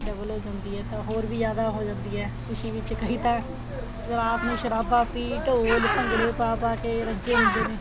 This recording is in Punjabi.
double ਹੋ ਜਾਂਦੀ ਏ ਤਾਂ ਹੋਰ ਵੀ ਜਿਆਦਾ ਹੋ ਜਾਂਦੀ ਏ ਖੁਸ਼ੀ ਵਿੱਚ ਕਈ ਤਾਂ ਰਾਤ ਨੂੰ ਸ਼ਰਾਬਾ ਪੀ ਢੋਲ ਭੰਗੜੇ ਪਾ ਪਾ ਕੇ ਰੱਜੇ ਹੁੰਦੇ ਨੇ